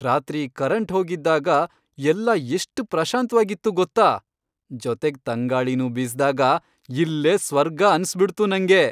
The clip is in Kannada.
ರಾತ್ರಿ ಕರೆಂಟ್ ಹೋಗಿದ್ದಾಗ, ಎಲ್ಲ ಎಷ್ಟ್ ಪ್ರಶಾಂತ್ವಾಗಿತ್ತು ಗೊತ್ತಾ.. ಜೊತೆಗ್ ತಂಗಾಳಿನೂ ಬೀಸ್ದಾಗ ಇಲ್ಲೇ ಸ್ವರ್ಗ ಅನ್ಸ್ಬಿಡ್ತು ನಂಗೆ.